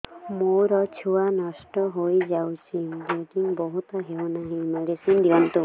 ମୋର ଛୁଆ ନଷ୍ଟ ହୋଇଯାଇଛି ବ୍ଲିଡ଼ିଙ୍ଗ ବନ୍ଦ ହଉନାହିଁ ମେଡିସିନ ଦିଅନ୍ତୁ